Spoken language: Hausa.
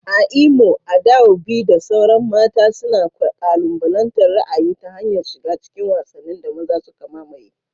A Imo, Adaobi da sauran mata suna kalubalantar ra'ayi ta hanyar shiga cikin wasannin da maza suka mamaye.